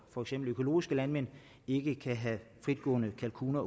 for eksempel økologiske landmænd ikke kan have fritgående kalkuner